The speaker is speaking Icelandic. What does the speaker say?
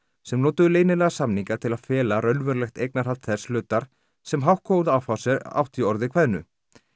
sem notuðu leynilega samninga til að fela raunverulegt eignarhald þess hlutar sem Hauck og Aufheuser átti í orði kveðnu